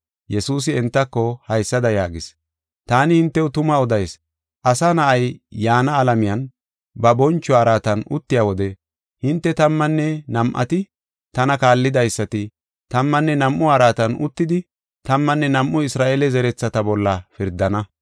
Yesuusi entako haysada yaagis: “Taani hintew tuma odayis; Asa Na7ay yaana alamiyan ba boncho araatan uttiya wode hinte tammanne nam7ati, tana kaallidaysati, tammanne nam7u araatan uttidi tammanne nam7u Isra7eele zerethata bolla pirdana.